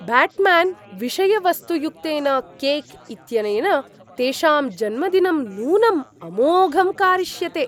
Batman विषयवस्तुयुक्तेन cake इत्यनेन तेषां जन्मदिनं नूनं अमोघं कारिष्यते!